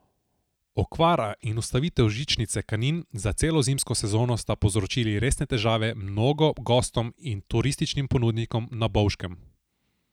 Okvara in ustavitev žičnice Kanin za celo zimsko sezono sta povzročili resne težave mnogo gostom in turističnim ponudnikom na Bovškem.